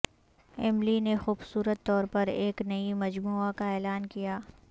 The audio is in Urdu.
ایملی نے خوبصورت طور پر ایک نئی مجموعہ کا اعلان کیا